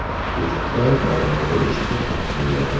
Kechki payt darvoza eshigi taqilladi.